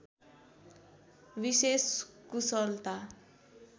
विशेष कुशलता